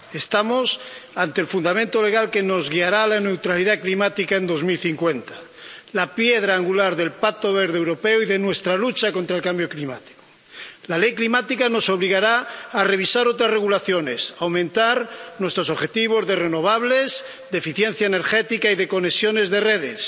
Estamos ante el fundamento legal que nos guiará a la neutralidad climática en 2050, la piedra angular del Pacto Verde Europeo y de nuestra lucha contra el cambio climático. La Ley climática nos obligará a revisar otras regulaciones, a aumentar nuestros objetivos de renovables, de eficiencia energética y de conexiones de redes